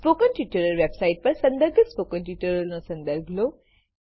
spoken tutorial website પર સંદર્ભિત spoken ટ્યુટોરીયલોનો સંદર્ભ લો